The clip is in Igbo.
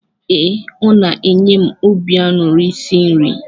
Ee, ọ na-enye m obi aṅụrị isi nri.